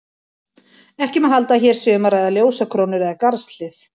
Ekki má halda að hér sé um að ræða ljósakrónur eða garðshlið.